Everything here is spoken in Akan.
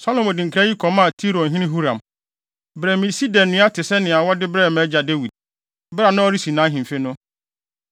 Salomo de nkra yi kɔmaa Tirohene Huram: “Brɛ me sida nnua te sɛ nea wɔde brɛɛ mʼagya Dawid, bere a na ɔresi nʼahemfi no.